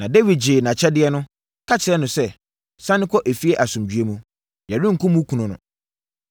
Na Dawid gyee nʼakyɛdeɛ no, ka kyerɛɛ no sɛ, “Sane kɔ efie asomdwoeɛ mu. Yɛrenkum wo kunu no.”